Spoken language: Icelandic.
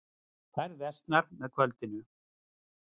Færð versnar með kvöldinu